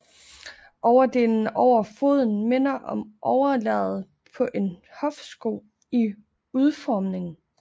Overdelen over foden minder om overlæderet på en hofsko i udformning